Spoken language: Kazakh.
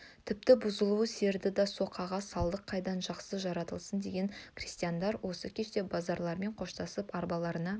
тіпті бұзаулы сиырды да соқаға салдық қайдан жақсы жыртылсын деген крестьяндар осы кеште базаралымен қоштасып арбаларына